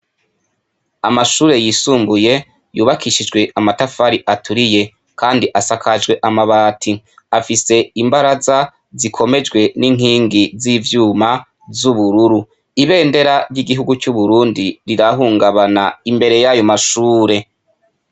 Amashure yiisumbuye, yubakishijwe amatafari aturiye, kandi asakajwe amabati. Afise imbaraza zikomejwe n'inkingi z'ivyuma z'ubururu. Ibendera ry'igihugu c'Uburundi rirahungabana imbere y'ayo mashure.